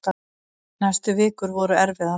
Næstu vikur voru erfiðar.